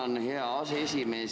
Tänan, hea aseesimees!